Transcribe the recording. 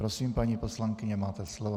Prosím, paní poslankyně, máte slovo.